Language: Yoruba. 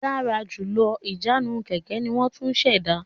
Dára jùlọ Ìjánu kẹ̀kẹ́ ní won tún ṣ'èdá